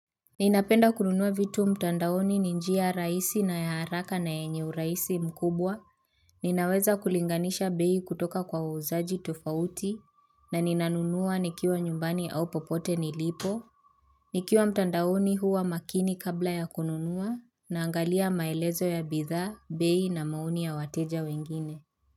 Ninapenda kununua vitu mtandaoni ni njia rahisi na ya haraka na yenye urahisi mkubwa. Ninaweza kulinganisha beii kutoka kwa wauzaji tofauti na ninanunua nikiwa nyumbani au popote nilipo. Nikiwa mtandaoni huwa makini kabla ya kununua. Naangalia maelezo ya bidhaa, bei na maoni ya wateja wengine.